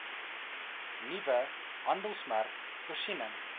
nuwe handelsmerk voorsiening